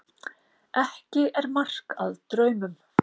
Ekki er mark að draumum.